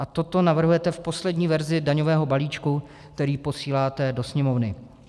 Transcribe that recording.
A toto navrhujete v poslední verzi daňového balíčku, který posíláte do Sněmovny.